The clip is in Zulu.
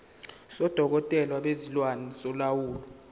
sodokotela bezilwane solawulo